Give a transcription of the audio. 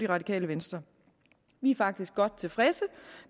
radikale venstre vi er faktisk godt tilfredse